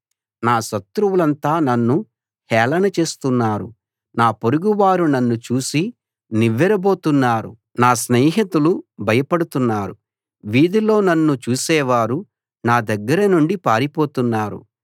నా శత్రువులంతా నన్ను హేళన చేస్తున్నారు నా పొరుగువారు నన్ను చూసి నివ్వెరబోతున్నారు నా స్నేహితులు భయపడుతున్నారు వీధిలో నన్ను చూసేవారు నా దగ్గర నుండి పారిపోతున్నారు